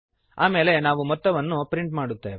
ಆಮೇಲೆ ನಾವು ಮೊತ್ತವನ್ನು ಪ್ರಿಂಟ್ ಮಾಡುತ್ತೇವೆ